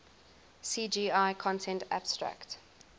cgi content abstract